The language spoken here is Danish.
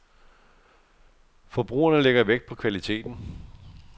Forbrugerne lægger vægt på kvaliteten.